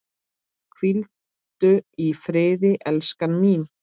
Hvíldu í friði, elskan mín.